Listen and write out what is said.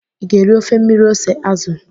ị ga-eri ofe mmiri ose azụ?